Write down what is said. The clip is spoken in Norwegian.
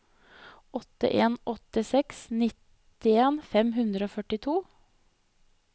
åtte en åtte seks nittien fem hundre og førtito